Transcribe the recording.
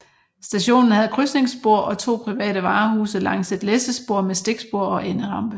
Stationen havde krydsningsspor og to private varehuse langs et læssespor med stikspor og enderampe